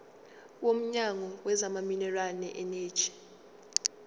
womnyango wezamaminerali neeneji